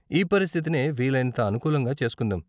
ఈ పరిస్థితినే వీలైనంత అనుకూలంగా చేస్కుందాం.